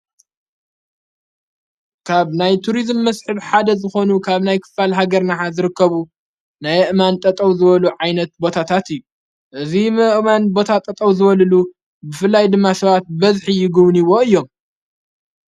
ካብ ናይ ቱርዝም መስሕብ ሓደ ዝኾኑ ካብ ናይ ክፋል ሃገርና ዝርከቡ ናይ ኣእማን ጠጠው ዝበሉ ዓይነት ቦታታት እዩ እዙይ ኣእማን ቦታ ጠጠው ዝበልሉ ብፍላይ ድማ ሰባት በዝሒ ይግብንይዎ እዮም።